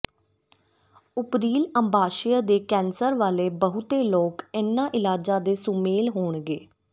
ਉਪਰੀਲ ਅੰਡਾਸ਼ਯ ਦੇ ਕੈਂਸਰ ਵਾਲੇ ਬਹੁਤੇ ਲੋਕ ਇਨ੍ਹਾਂ ਇਲਾਜਾਂ ਦੇ ਸੁਮੇਲ ਹੋਣਗੇ